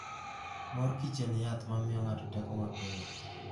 Mor Kichen yath ma miyo ng'ato teko mapiyo.